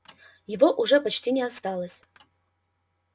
его уже почти не осталось